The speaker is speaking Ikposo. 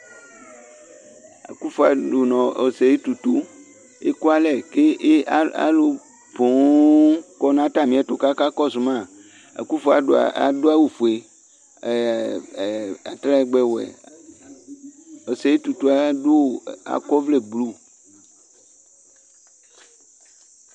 Akʋnfo Adu nʋ Ɔsɛyɩ Tutu ekualɛ ,kʋ alʋ poo akɔ natamɩɛtʋ kaka kɔsʋ maAkʋnfo adʋ awʋ fue ɛɛ atalɛgbɛ wɛ Osɛyɩ Tutu akɔ ɔvlɛ blu